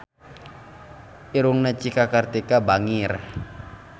Irungna Cika Kartika bangir